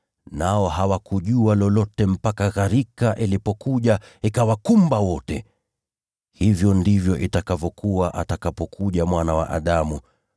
Nao hawakujua lolote mpaka gharika ilipokuja ikawakumba wote. Hivyo ndivyo itakavyokuwa atakapokuja Mwana wa Adamu.